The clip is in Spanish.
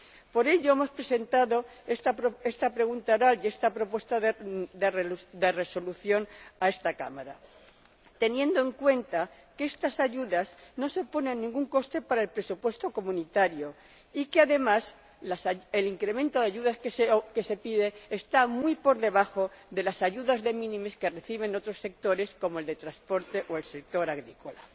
Por ello, hemos presentado esta pregunta oral y esta propuesta de resolución a esta Cámara, teniendo en cuenta que estas ayudas no suponen ningún coste para el presupuesto de la UE y que, además, el incremento de ayudas que se pide está muy por debajo de las ayudas de minimis que reciben otros sectores, como el del transporte o el sector agrícola.